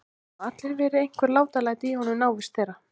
Það hafa alltaf verið einhver látalæti í honum í návist þeirra.